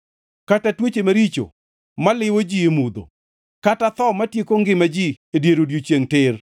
kata tuoche maricho maliwo ji e mudho, kata tho matieko ngima ji e dier odiechiengʼ tir.